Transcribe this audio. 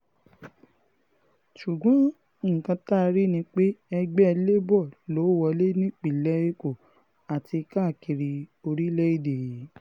ṣùgbọ́n nǹkan tá a rí ni pé ẹgbẹ́ labour ló wọlé nípìnlẹ̀ èkó àti káàkiri orílẹ̀-èdè yìí